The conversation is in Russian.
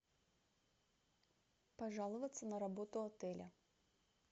пожаловаться на работу отеля